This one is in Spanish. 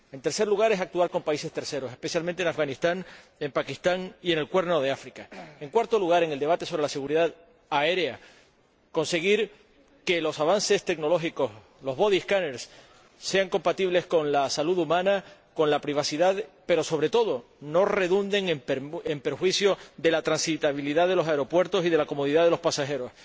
En tercer lugar, actuar con países terceros, especialmente en Afganistán, en Pakistán y en el Cuerno de África. En cuarto lugar, en el debate sobre la seguridad aérea, conseguir que los avances tecnológicos, los body scanners, sean compatibles con la salud humana, con la privacidad, pero, sobre todo, que no afecten a la transitabilidad de los aeropuertos y a la comodidad de los pasajeros.